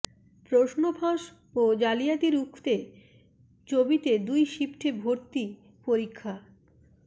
প্রশ্নফাঁস ও জালিয়াতি রুখতে চবিতে দুই শিফটে ভর্তি পরীক্ষা